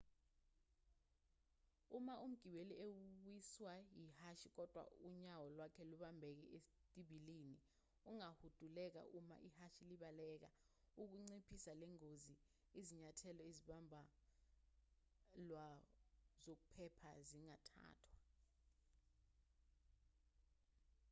uma umgibeli ewiswa yihashi kodwa unyawo lwakhe lubambeke esitibilini angahuduleka uma ihhashi libaleka ukunciphisa lengozi izinyathelo ezimbalwa zokuphepha zingathathwa